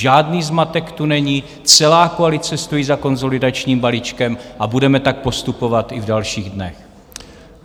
Žádný zmatek tu není, celá koalice stojí za konsolidačním balíčkem a budeme tak postupovat i v dalších dnech.